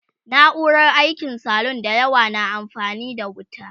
na'urar aikin salun da yawa na amfani da wuta